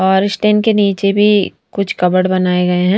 और स्टैंड के नीचे भी कुछ कॉबर्ड बनाए गए हैं।